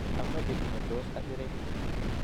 Amache kiy netos asirei